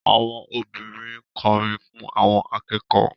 Àwọn obìnrin ń kọrin fún àwọn akẹ́kọ̀ọ́